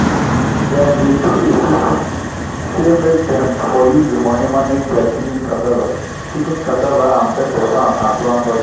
dem dey do esusu (contribution) say make dem for use the money manage their chicken cassava chicken cassava and pepper farm as one body.